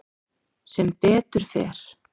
Sem betur fer